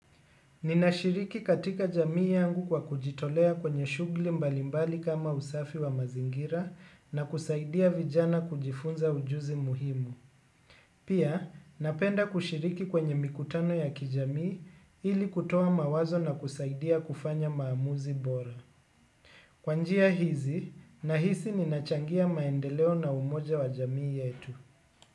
Ninashiriki katika jamii yangu kwa kujitolea kwenye shughuli mbalimbali kama usafi wa mazingira na kusaidia vijana kujifunza ujuzi muhimu. Pia, napenda kushiriki kwenye mikutano ya kijamii ili kutoa mawazo na kusaidia kufanya maamuzi bora. Kwa njia hizi, nahisi ninachangia maendeleo na umoja wa jamii yetu.